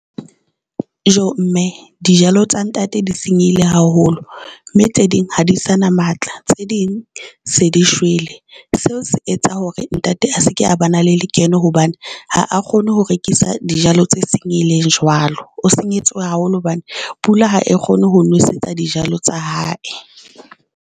Joo mme dijalo tsa ntate di senyehile haholo, mme tse ding ha di sa na matla, tse ding se di shwele. Seo se etsa hore ntate a se ke a ba na le lekeno hobane ha a kgone ho rekisa dijalo tse senyehileng jwalo. O senyehetswe haholo hobane pula ha e kgone ho nosetsa dijalo tsa hae.